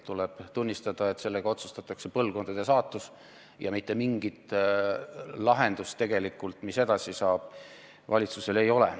Tuleb tunnistada, et sellega otsustatakse põlvkondade saatus ja mitte mingit lahendust tegelikult, mis edasi saab, valitsusel ei ole.